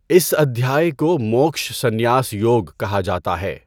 اِس ادھیای کو موکْش سنیاس یوگ کہا جاتا ہے۔